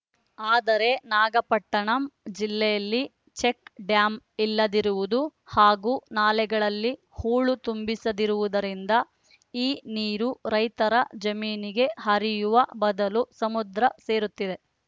ಆದರೆ ನಾಗಪಟ್ಟಿಣಂ ಜಿಲ್ಲೆಯಲ್ಲಿ ಚೆಕ್‌ಡ್ಯಾಂ ಇಲ್ಲದಿರುವುದು ಹಾಗೂ ನಾಲೆಗಳಲ್ಲಿ ಹೂಳು ತುಂಬಿಸಿರುವುದರಿಂದ ಈ ನೀರು ರೈತರ ಜಮೀನಿಗೆ ಹರಿಯುವ ಬದಲು ಸಮುದ್ರ ಸೇರುತ್ತಿದೆ